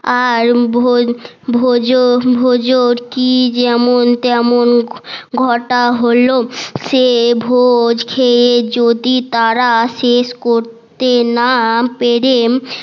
আর ভোজন ভোজন কি যেমন তেমন ঘটা হলো সে ভোজ খেয়ে যদি তারা শেষ করতে না পেরে